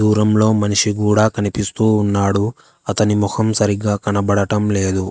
దూరంలో మనిషి కూడా కనిపిస్తూ ఉన్నాడు అతని మొహం సరిగ్గా కనబడటం లేదు.